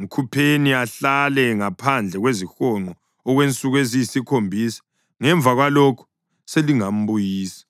Mkhupheni ahlale ngaphandle kwezihonqo okwensuku eziyisikhombisa; ngemva kwalokho selingambuyisa.”